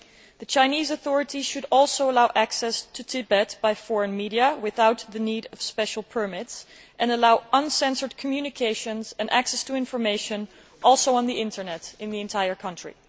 The Chinese authorities should also allow access to Tibet by foreign media without the need for special permits and allow uncensored communications and access to information also on the Internet throughout the entire country.